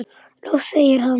Loks segir hann